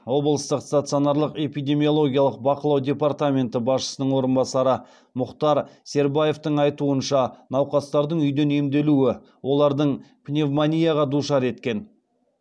облыстық стационарлық эпидемиологиялық бақылау департаменті басшысының орынбасары мұхтар сербаевтың айтуынша науқастардың үйден емделуі олардын пневмонияға душар еткен